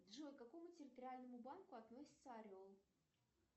джой к какому территориальному банку относится орел